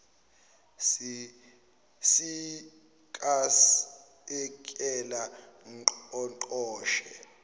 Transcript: si iikasekela ngqongqoshe